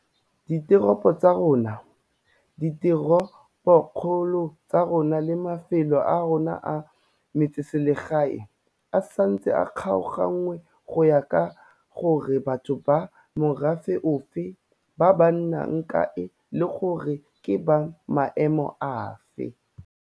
Diteropo tsa rona, ditero pokgolo tsa rona le mafelo a rona a metseselegae a santse a kgaoganngwe go ya ka gore ke batho ba morafe ofe ba ba nnang kae le gore ke ba maemo afe.